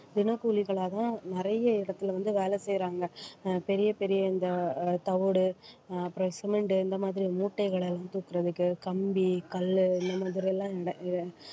தினக்கூலிகளாக நிறைய இடத்துல வந்து வேலை செய்யுறாங்க. ஆஹ் பெரிய பெரிய இந்த ஆஹ் தவிடு அஹ் அப்பறம் சிமெண்ட் இந்த மாதிரி மூட்டைகள் எல்லாம் தூக்குறதுக்கு கம்பி கல்லு இந்த மாதிரி எல்லாம் இந்த அஹ்